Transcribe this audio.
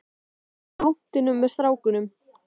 Ég var á rúntinum með strákunum.